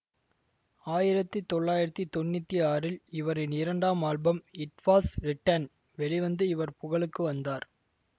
ஆயிரத்தி தொள்ளாயிரத்தி தொன்னூத்தி ஆறில் இவரின் இரண்டாம் ஆல்பம் இட் வாஸ் ரிட்டென் வெளிவந்து இவர் புகழுக்கு வந்தார்